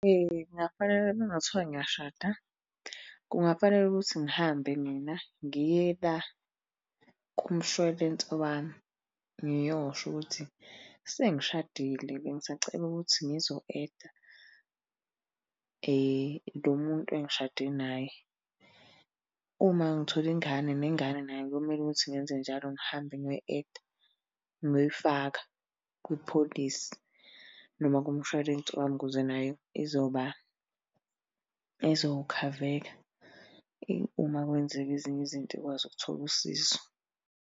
Kungafanele uma kungathiwa ngiyashada, kungafanele ukuthi ngihambe mina ngiye la kumshwalense wami, ngiyosho ukuthi sengishadile bengisacela ukuthi ngizo-add-a lo muntu engishade naye. Uma ngithola ingane nengane nayo kuyomele ukuthi ngenze njalo ngihambe ngiyoyi-add-a, ngiyoyifaka kwi-policy noma kumshwalensi wami ukuze nayo izoba, izokhaveka. Uma kwenzeka ezinye izinto ikwazi ukuthola usizo.